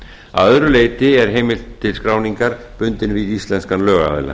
að öðru leyti er heimild til skráningar bundin við íslenskan lögaðila